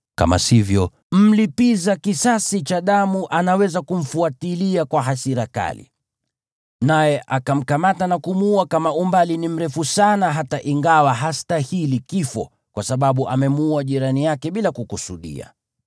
Kama sivyo, mlipiza kisasi cha damu anaweza kumfuatilia kwa hasira kali, naye akamkamata na kumuua kama umbali ni mrefu sana hata ingawa hastahili kifo, kwa sababu amemuua jirani yake bila kukusudia.